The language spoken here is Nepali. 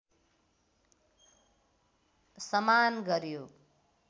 समान गर्‍यो